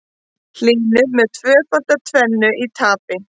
Hlynur með tvöfalda tvennu í tapi